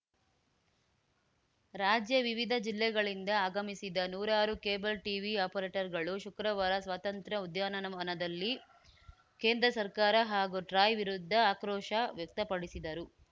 ರಾಜ್ಯ ವಿವಿಧ ಜಿಲ್ಲೆಗಳಿಂದ ಆಗಮಿಸಿದ ನೂರಾರು ಕೇಬಲ್‌ ಟಿವಿ ಆಪರೇಟರ್‌ಗಳು ಶುಕ್ರವಾರ ಸ್ವಾತಂತ್ರ್ಯ ಉದ್ಯಾನವನದಲ್ಲಿ ಕೇಂದ್ರ ಸರ್ಕಾರ ಹಾಗೂ ಟ್ರಾಯ್‌ ವಿರುದ್ಧ ಆಕ್ರೋಶ ವ್ಯಕ್ತಪಡಿಸಿದರು